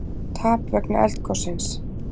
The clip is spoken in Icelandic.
Tap vegna eldgossins